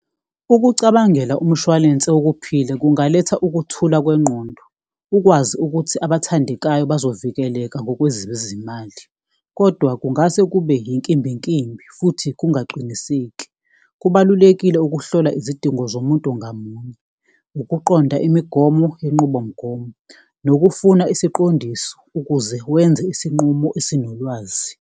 Ukucabangela umshwalense wokuphila kungaletha ukuthula kwengqondo, ukwazi ukuthi abathandekayo bazovikeleka ngokwezizimali kodwa kungase kube inkimbinkimbi futhi kungaqiniseki. Kubalulekile ukuhlola izidingo zomuntu ngamunye, ukuqonda imigomo yenqubomgomo, nokufuna isiqondiso ukuze wenze isinqumo esinolwazi.